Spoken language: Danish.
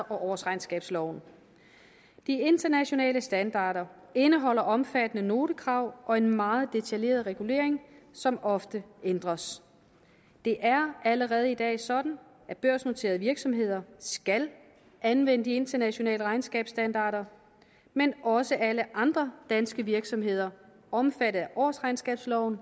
årsregnskabsloven de internationale standarder indeholder omfattende notekrav og en meget detaljeret regulering som ofte ændres det er allerede i dag sådan at børsnoterede virksomheder skal anvende de internationale regnskabsstandarder men også alle andre danske virksomheder omfattet af årsregnskabsloven